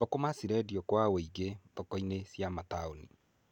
Thũkũma cirendio kwa wĩingĩ thoko-inĩ cia mataũni.